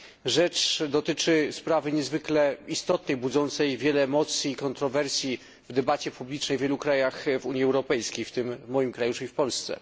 Rzecz dotyczy sprawy niezwykle istotnej, budzącej wiele emocji i kontrowersji w debacie publicznej w wielu krajach Unii Europejskiej, w tym i w moim kraju, czyli w Polsce.